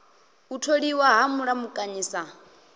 u tholiwa ha mulamukanyi sa